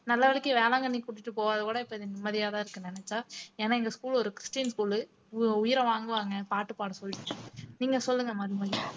நல்லவேலைக்கு வேளாங்கண்ணி கூட்டிட்டு போகாத கூட இப்ப நிம்மதியாதான் இருக்கு நினைச்சா ஏன்னா எங்க school ஒரு christian school உ உயிரை வாங்குவாங்க பாட்டு பாட சொல்லி நீங்க சொல்லுங்க மது